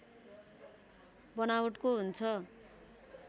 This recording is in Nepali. बनावटको हुन्छ